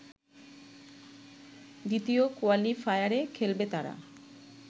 দ্বিতীয় কোয়ালিফায়ারে খেলবে তারা